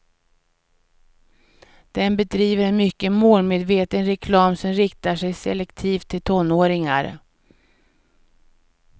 Den bedriver en mycket målmedveten reklam som riktar sig selektivt till tonåringar.